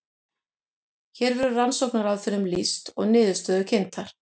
hér verður rannsóknaraðferðum lýst og niðurstöður kynntar